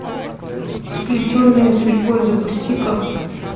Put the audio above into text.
сплетенные судьбой запусти ка